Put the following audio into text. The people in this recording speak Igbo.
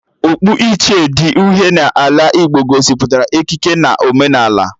Okpu ichie dị uhie n'ala Igbo gosipụtara ikike na omenala